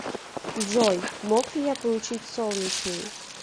джой мог ли я получить солнечный